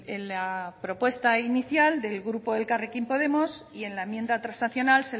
en la propuesta inicial del grupo elkarrekin podemos y en la enmienda transaccional